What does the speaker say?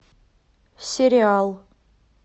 сериал